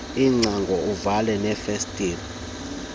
iingcango uvale neefestile